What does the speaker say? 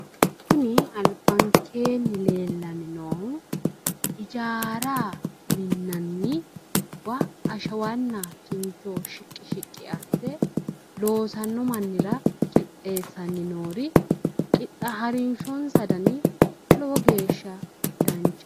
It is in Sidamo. Kuni albankeenni leellanni noohu ijaara minnanniwa na ashawanna kincho shiqqi shiqqi asse loosanno mannira qixxeessanni noori harinshonsa gari lowo geeshsha danchaho.